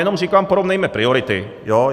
Jenom říkám, porovnejme priority.